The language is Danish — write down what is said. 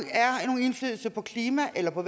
indflydelse på klimaet eller på